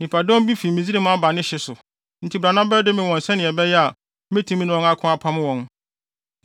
Nnipadɔm bi fi Misraim aba ne hye so. Enti bra na bɛdome wɔn sɛnea ɛbɛyɛ a metumi ne wɔn ako apam wɔn.”